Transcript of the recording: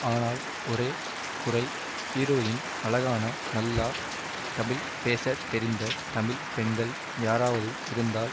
ஆனால் ஒரே குறை ஹீரோயின் அழகான நல்லா தமிழ் பேச தெரிந்த தமிழ் பெண்கள் யாராவது இருந்தால்